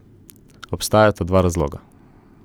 Obstajata dva razloga.